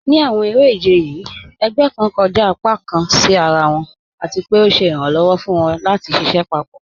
Ní àwọn èrè-ìjẹ̀ yìí, ègbẹ̀ kàn kọ́jà ọ̀pá kàn sí àrà wọn, àti pé ọ̀ sẹ̀ iràǹlọ́wọ̀ fún wọn lati ṣiṣẹ papọ.